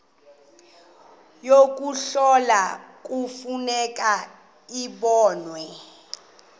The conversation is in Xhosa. yokuhlola kufuneka zibonwe